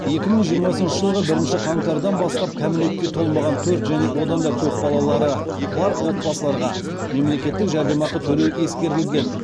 екі мың жиырмасыншы жылғы бірінші қаңтардан бастап кәмелетке толмаған төрт және одан да көп балалары бар отбасыларға мемлекеттік жәрдемақы төлеу ескерілген